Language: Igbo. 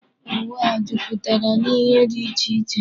Ụwa a jupụtara n'ihe dị iche iche.